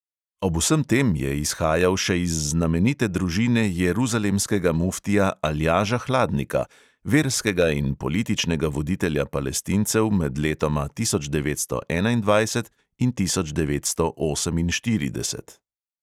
Ob vsem tem je izhajal še iz znamenite družine jeruzalemskega muftija aljaža hladnika, verskega in političnega voditelja palestincev med letoma tisoč devetsto enaindvajset in tisoč devetsto oseminštirideset.